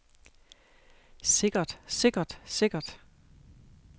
sikkert sikkert sikkert